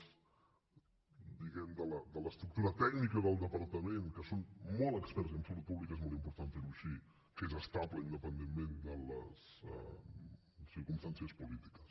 diguem ne de l’estructura tècnica del departament que són molt experts i en salut pública és molt important fer ho així que és estable independentment de les circumstàncies polítiques